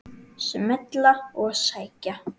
Smella og sækja.